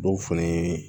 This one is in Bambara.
Dɔw fɛnɛ ye